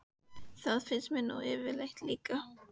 Hlustið: þetta er sérlega áhugavert tilboð